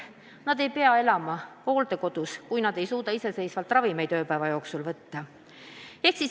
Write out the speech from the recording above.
Nad ei pea elama hooldekodus, kui nad ei suuda iseseisvalt ravimeid võtta.